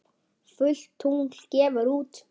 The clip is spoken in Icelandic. Fullt tungl gefur út.